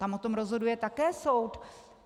Tam o tom rozhoduje také soud.